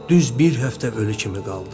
Düz bir həftə ölü kimi qaldı.